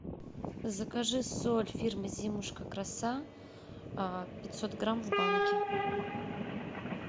закажи соль фирмы зимушка краса пятьсот грамм в банке